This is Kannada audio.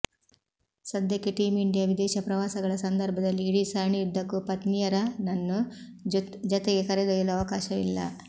ಸದ್ಯಕ್ಕೆ ಟೀಂ ಇಂಡಿಯಾ ವಿದೇಶ ಪ್ರವಾಸಗಳ ಸಂದರ್ಭದಲ್ಲಿ ಇಡೀ ಸರಣಿಯುದ್ಧಕ್ಕೂ ಪತ್ನಿಯರನನ್ನು ಜತೆಗೆ ಕರೆದೊಯ್ಯಲು ಅವಕಾಶವಿಲ್ಲ